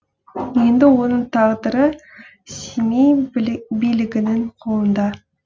енді оның тағдыры семей билігінің қолында